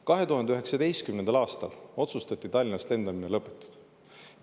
2019. aastal otsustati Tallinnast lendamine lõpetada.